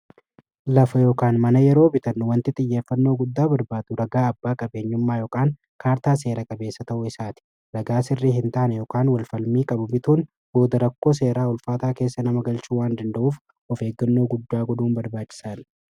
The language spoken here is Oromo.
lafa yookaan mana yeroo bitan wanti xiyyeeffannoo guddaa barbaadu ragaa abbaa qabeenyummaa ykaan kaartaa seera qabeessa ta'uu isaati lagaa sirrii hin taane yookaan walfalmii qabu mituun booda rakkoo seeraa ulfaataa keessa nama galchuu waan danda'uuf of eeggannoo guddaa goduuin barbaachisaan